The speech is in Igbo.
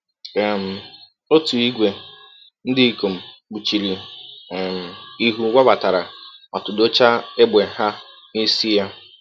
um Ọtụ ìgwè ndị ikom kpuchiri um ihu wabatara ma tụdọchaa égbè ha n’isi ya. um